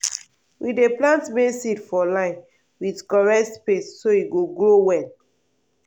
we dey plant maize seed for line with correct space so e go grow well.